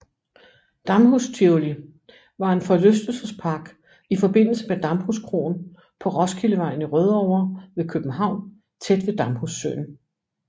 Damhus Tivoli var en forlystelsespark i forbindelse med Damhuskroen på Roskildevejen i Rødovre ved København tæt ved Damhussøen